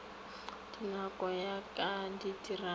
dinako go ya ka ditiragalo